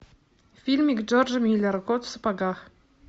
фильмик джорджа миллера кот в сапогах